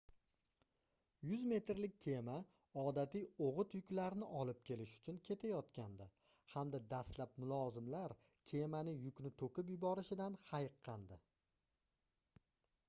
100 metrlik kema odatiy oʻgʻit yuklarni olib kelish uchun ketayotgandi hamda dastlab mulozimlar kemaning yukni toʻkib yuborishidan hayiqqandi